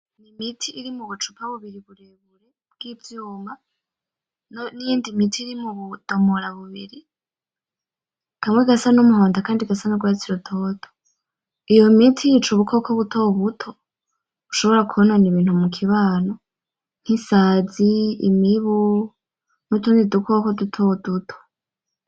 Ni imiti iri mubucupa bubiri burebure vy'ivyuma n'iyindi miti iri mu budomora bubiri kamwe gasa n'umuhondo, akandi gasa n'urwatsi rutoto, iyo miti yica ubukoko butobuto bushobora kwonona ibintu mu kibano nk'isazi, imibu, n'utundi dukoko dutoduto.